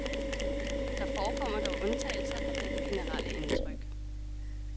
Der forekommer dog undtagelser fra dette generelle indtryk.